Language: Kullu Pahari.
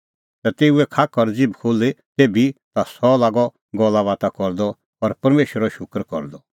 ता तेऊओ खाख और ज़िभ खुल्ही तेभी ता सह लागअ गल्लाबाता करदअ और परमेशरो शूकर करदअ